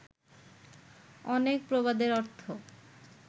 অনেক প্রবাদের অর্থ